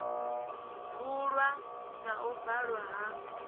vulwa na u valwa ha